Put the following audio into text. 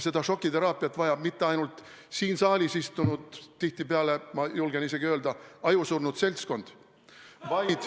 Seda šokiteraapiat ei vaja mitte ainult siin saalis istuv tihtipeale, ma julgen öelda isegi, ajusurnud seltskond ...